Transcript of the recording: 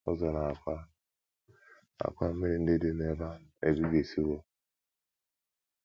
Ụzọ na àkwà na àkwà mmiri ndị dị n’ebe ahụ ebibisịwo.